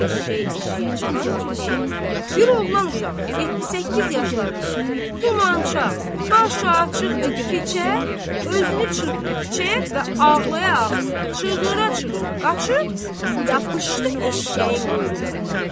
Eşşək eşşəyə çıxan kimi bir oğlan uşağı 7-8 yaşlarında tumançaq, başı açıq və keçə özünü çırpdı küçəyə və ağlaya-ağlaya, çığıra-çığıra qaçıb yapışdı eşşəyin quyruğundan.